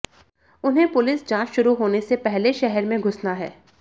उन्हें पुलिस जांच शुरू होने से पहले शहर में घुसना है